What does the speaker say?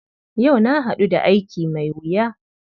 Yau na haɗu da aiki mai wuya.